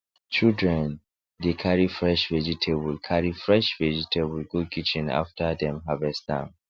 children dey carry fresh vegetable carry fresh vegetable go kitchen after dem harvest am